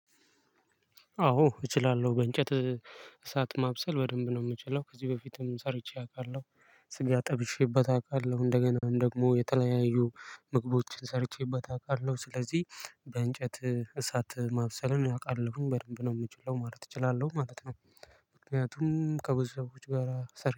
አዎ እችላለሁ በእንጨት እሳት ማብሰል በደንብ ነው ምችለው ከዚህ በፊትም ሰርቼ አውቃለሁ። ስጋ ጠብሼበት አቃለሁ እንደገና ደግሞ የተለያዩ ምግቦችን ሰርቼበት አቃለሁ። ስለዚህ በእንጨት እሳት ማብሰልን አቃለሁኝ በደንብ ነው የምችለው ማለት እችላለሁ ማለት ነው። ምክንያቱም ከብዙ ሰዎች ጋር